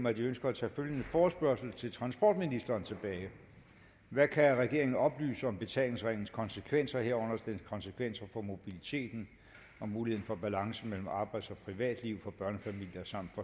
at de ønsker at tage følgende forespørgsel til transportministeren tilbage hvad kan regeringen oplyse om betalingsringens konsekvenser herunder dens konsekvenser for mobiliteten og muligheden for balance mellem arbejds og privatliv for børnefamilier samt